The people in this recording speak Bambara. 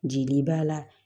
Jeli b'a la